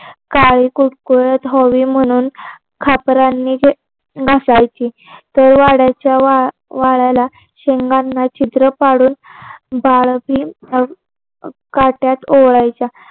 काळी कुळकुळात व्हावी म्हणून खापरांनी जे घासायची तर वाड्याच्या वाल्याला शेंगांना छिद्र पाडून काट्यात ओवायच्या.